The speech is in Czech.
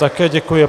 Také děkuji.